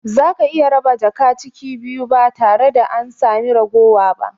Zaka iya raba jaka ciki biyu ba tare da an sami raguwa ba